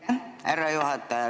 Aitäh, härra juhataja!